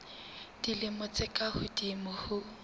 dilemo tse ka hodimo ho